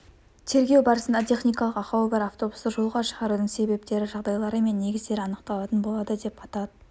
тергеу барысында техникалық ақауы бар автобусты жолға шығарудың себептері жағдайлары мен негіздері анықталатын болады деп атап